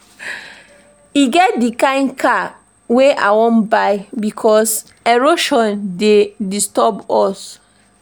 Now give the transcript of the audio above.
E get di kain car wey I wan buy because erosion dey disturb us.